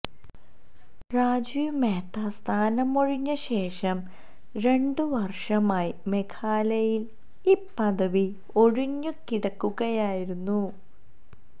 രാജീവ് മെഹ്ത സ്ഥാനമൊഴിഞ്ഞ ശേഷം രണ്ട് വര്ഷമായി മേഘാലയയില് ഈ പദവി ഒഴിഞ്ഞുകിടക്കുകയായിരുന്നു